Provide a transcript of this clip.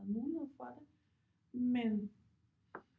Der var muligheder for det men